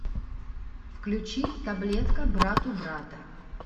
включи таблетка братубрата